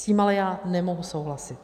S tím ale já nemohu souhlasit.